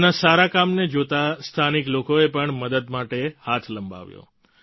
તેમના સારા કામને જોતાં સ્થાનિક લોકોએ પણ મદદ માટે હાથ લંબાવ્યો